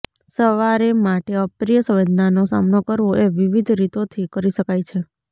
સવારે માટે અપ્રિય સંવેદનાનો સામનો કરવો એ વિવિધ રીતોથી કરી શકાય છે